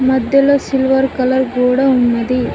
మధ్యలో silver colour గూడ ఉన్నది.